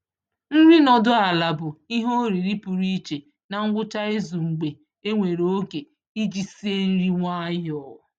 Nri nọdụ ala bụ ihe oriri pụrụ iche na ngwụcha izu mgbe enwere oge iji sie nri nwayọọ.